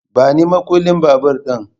Bani makullin babur ɗin